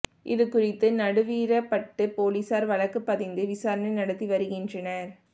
இதுகுறித்து நடுவீரப்பட்டு போலீஸாா் வழக்குப் பதிந்து விசாரணை நடத்தி வருகின்றனா்